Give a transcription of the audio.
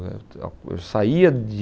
Eu saía de...